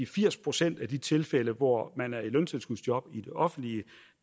firs procent af de tilfælde hvor man er i løntilskudsjob i det offentlige